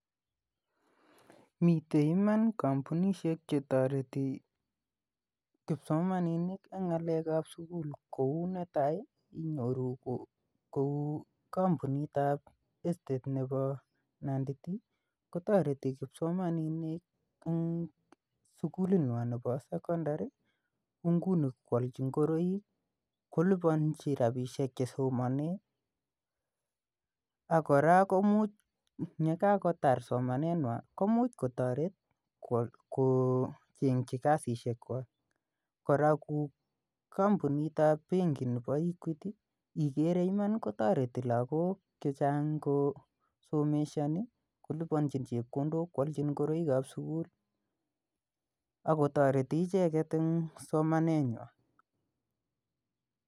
Mitei iman kampunishek chetareti kipsomaninik ing ng'alek ap sukul kou netai inyoru kou kampunit ap estate nepo Nandi tea kotoreti kipsomaninik eng sukulit ng'wan nepo secondary ko nguni koalchi ngoroik kolipanji ropisiek chesomanee akora kumuch nekakotar somaneng'wany komuchkotoret kochengchi kasishek kwach kora kampunit ap benki nepo equity igere Iman kotoreti lakok chechang kosomeshani kolipanji chepkondok koalchi ngoroik ap sukul akotoreti icheget eng somaneng'wany